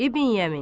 İbn Yəmin.